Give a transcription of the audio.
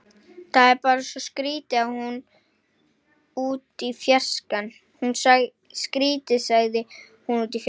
Það er bara svo skrýtið- sagði hún út í fjarskann.